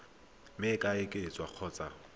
mme e ka oketswa kgotsa